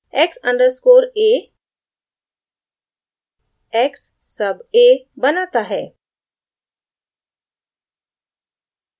x underscore a x sub a बनाता है